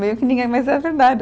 Meio que ninguém mas é verdade.